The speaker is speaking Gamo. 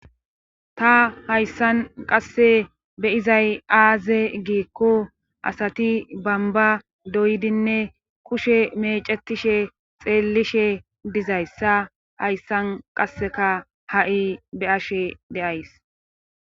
Ta hayssan qasse beyizay aaze giikko asati bamba doydinne kushe mecetishe xeellishe dizayssa hayssan qasseka ha7i be ashe de'ays.